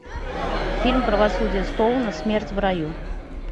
фильм правосудие стоуна смерть в раю